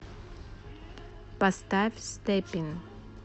поставь степин